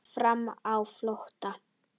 Farmenn á flótta